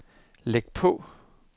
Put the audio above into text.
læg på